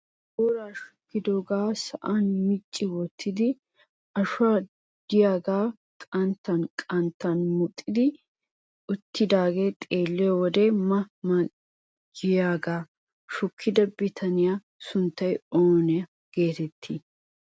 Booraa shukkidoogaa sa'aan micci wottido ashoy de'iyaagee qanttan qanttan muxetti uttidagee xeelliyoode ma ma giyaagaa shukida bitaniyaa sunttay oona getettii?